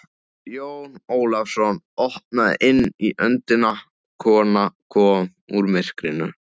Jón Ólafsson opnaði inn í öndina, kona kom úr myrkrinu.